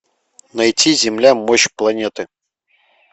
найти земля мощь планеты